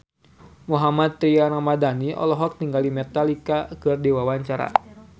Mohammad Tria Ramadhani olohok ningali Metallica keur diwawancara